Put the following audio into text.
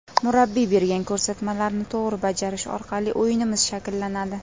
Murabbiy bergan ko‘rsatmalarni to‘g‘ri bajarish orqali o‘yinimiz shakllanadi.